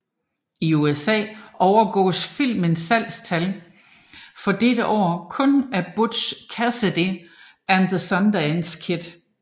I USA overgås filmens salgstal for dette år kun af Butch Cassidy and the Sundance Kid